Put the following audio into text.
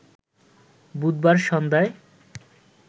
বুধবার সন্ধ্যায়